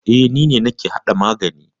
E, ni ne nake hada magani.